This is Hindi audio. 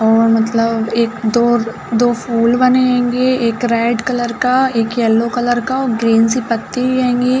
और मतलब एक दो दो फूल बने हेंगे एक रेड कलर का एक येल्लो कलर का और ग्रीन सी पत्ती हेंगी।